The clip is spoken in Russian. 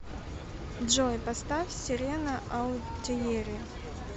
джой поставь серена аутиери